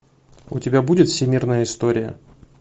у тебя будет всемирная история